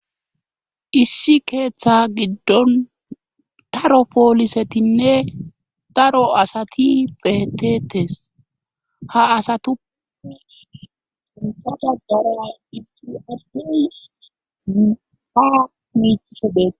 issi keeththa giddon daro poolisetinne daro asati betetes ha asatu isada dara issi addi a miiisde